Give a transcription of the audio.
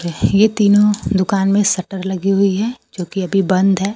ये तीनों दुकान में शटर लगी हुई है जोकि अभी बंद है।